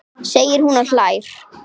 segir hún og hlær.